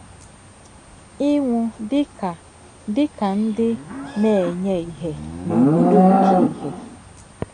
Inwu Dị Ka Dị Ka Ndị Na - enye Ìhè n’Obodo Nke Ìhè